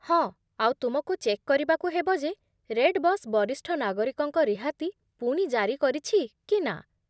ହଁ, ଆଉ ତୁମକୁ ଚେକ୍ କରିବାକୁ ହେବ ଯେ ରେଡ଼୍‌ବସ୍ ବରିଷ୍ଠ ନାଗରିକଙ୍କ ରିହାତି ପୁଣି ଜାରି କରିଛି କି ନା।